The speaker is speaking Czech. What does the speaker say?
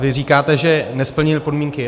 Vy říkáte, že nesplnili podmínky.